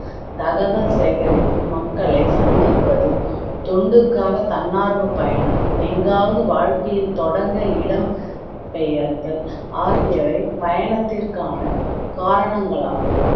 தகவல் சேகரிப்பு, மக்களை சந்திப்பது, தொண்டுக்காக தன்னார்வ பயணம், எங்காவது வாழ்க்கைய தொடங்க இடம் பெயர்தல், ஆகியவை பயணத்திற்கான காரணங்களாகும்